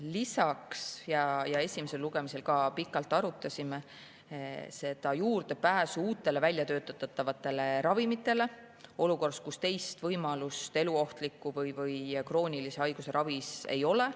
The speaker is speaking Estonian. Lisaks me arutasime enne esimest lugemist pikalt juurdepääsu uutele väljatöötatavatele ravimitele olukorras, kus teist võimalust eluohtliku või kroonilise haiguse ravis ei ole.